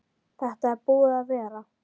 Þetta er búið að vera.